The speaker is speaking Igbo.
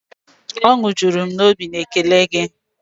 Ọnwụ jụrụ m obi na ékélé gi